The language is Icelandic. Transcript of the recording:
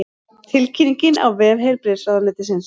Tilkynningin á vef heilbrigðisráðuneytisins